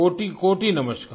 कोटिकोटि नमस्कार